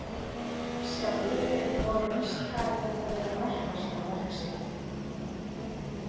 Sjálfur hefur Lorenz talið þetta vera merkasta verk sitt.